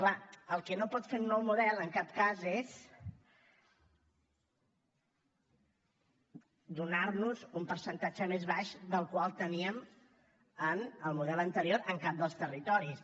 clar el que no pot fer un nou model en cap cas és donar nos un percentatge més baix que el que teníem en el model anterior en cap dels territoris